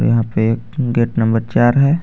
यहाँ पे एक गेट नंबर चार हे.